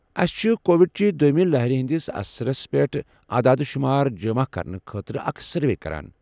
أسہِ چھِ کووِڈ چہ دوٚیمہ لہرٕ ہٕنٛدِس اثرس پٮ۪ٹھ عداد شُمار جمع کرنہٕ خٲطرٕ اکھ سروے کران ۔